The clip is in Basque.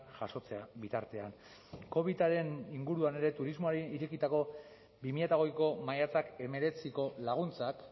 jasotzea bitartean covidaren inguruan ere turismoari irekitako bi mila hogeiko maiatzak hemeretziko laguntzak